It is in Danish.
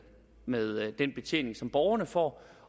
med den betjening som borgerne får